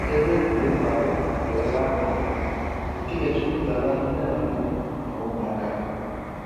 Ebe egwuregwu ahụ bụ ebe a ma ama nke na-ejupụta na ndị nne na nna na ụmụaka ha